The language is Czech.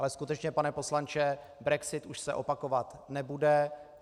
Ale skutečně, pane poslanče, brexit už se opakovat nebude.